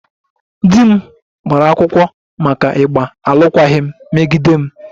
Di m gbara akwụkwọ maka ịgba alụkwaghịm megide m